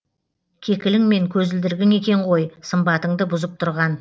кекілің мен көзілдірігің екен ғой сымбатыңды бұзып тұрған